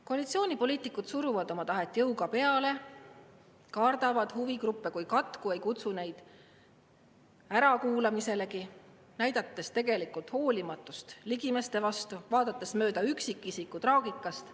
Koalitsioonipoliitikud suruvad oma tahet jõuga peale, kardavad huvigruppe kui katku, ei kutsu neid ärakuulamiselegi, näidates tegelikult hoolimatust ligimeste vastu, vaadates mööda üksikisiku traagikast.